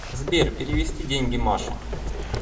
сбер перевести деньги маше